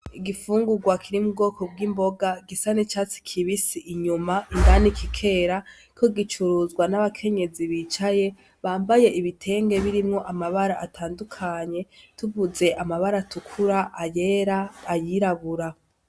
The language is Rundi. Igifungurwa kiri mu bwoko bw'imboga gisa n'icatsi kibisi inyuma indani kikera kiriko gicuruzwa n'abakenyezi bicaye bambaye ibitenge birimwo amabara atandukanye :tuvuze amabara atukura, ayera, ayirabura.